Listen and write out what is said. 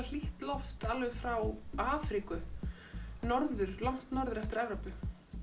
hlýtt loft alveg frá Afríku norður norður eftir Evrópu